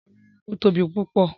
Rárá, ó tóbi púpọ̀.